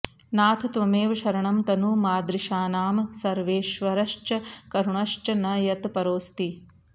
नाथ त्वमेव शरणं तनु मादृशानां सर्वेश्वरश्च करुणश्च न यत् परोस्ति